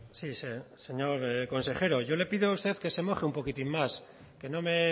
sí señor consejero yo le pido a usted que se moje un poquitín más que no me